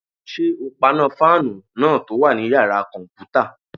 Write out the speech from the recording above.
Ṣé o paná fáànù náà tó wà ní yàrá-kọ̀mpútà?